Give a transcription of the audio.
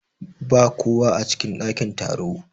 Ba kowa a cikin ɗakin taro.